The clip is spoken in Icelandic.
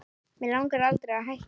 Mig langaði aldrei að hætta